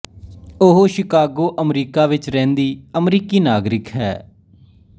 ਉਹ Chicago America ਵਿੱਚ ਰਹਿੰਦੀ ਅਮਰੀਕੀ ਨਾਗਰਿਕ ਹੈ